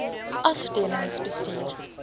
afdelingsbestuur